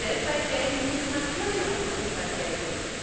Sie müssen weltweit gelten, sie müssen natürlich auch in Russland gelten.